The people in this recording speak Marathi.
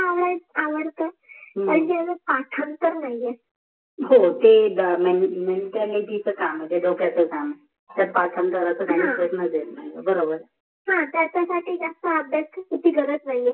आवडाय आवडत पण ते पाठांतर नाही आहे हो ते च काम आहे ते डोक्याच काम त्याच पाठांतर चा काही हि प्रश्ना येत नाही बरोबर हो त्याच्या साठी जास्त अभ्यासाची चुकी करत नाही आहे